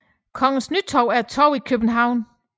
Kongens Nytorv er et torv i København